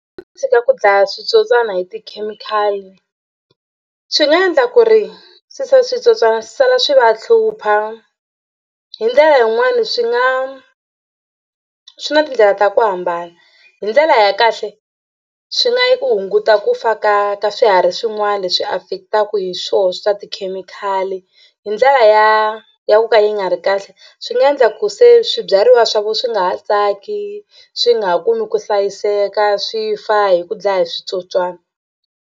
Tshika ku dlaya switsotswani hi tikhemikhali swi nga endla ku ri switsotswana swi sala swi va hlupha. Hi ndlela yin'wani swi nga swi na tindlela ta ku hambana hi ndlela ya kahle swi nga yi ku hunguta ku fa ka ka swiharhi swin'wana leswi affect-aka hi swoho swa tikhemikhali hi ndlela ya ya ku ka yi nga ri kahle swi nga endla ku se swibyariwa swa vona swi nga ha tsaki swi nga ha kumi ku hlayiseka swi fa hi ku dlaya hi switsotswana.